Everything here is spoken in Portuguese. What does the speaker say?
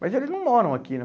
Mas eles não moram aqui, né?